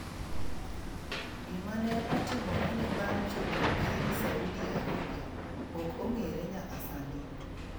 Gima ne otimorene bang' chopo piny Saudi Arabia ok ong'ere nyaka sani.